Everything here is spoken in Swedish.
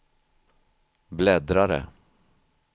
bläddrare